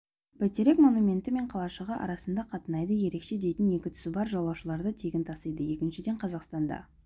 бәйтерек монументі мен қалашығы арасында қатынайды ерекше дейтін екі тұсы бар жолаушыларды тегін тасиды екіншіден қазақстанда